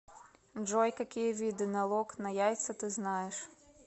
джой какие виды налог на яйца ты знаешь